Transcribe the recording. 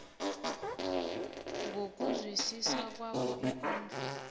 ngokuzwisisa kwakho ikondlo